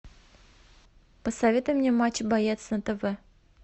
посоветуй мне матч боец на тв